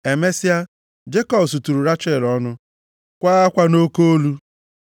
Emesịa, Jekọb suturu Rechel ọnụ, kwaa akwa nʼoke olu.